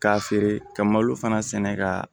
K'a feere ka malo fana sɛnɛ ka